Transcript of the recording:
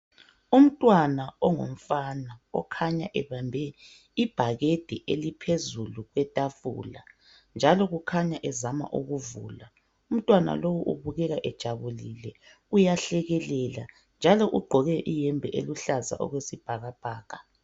Umntwana ongumfana okhanya ebambe ibhakedi eliphezulu kwethafula .Njalo ukhanya ezama ukuvula ,umntwana lowu ubukeka ejabulile uyahlekelela. Njalo ugqoke ihembe eluhlaza okwesibhakabhaka.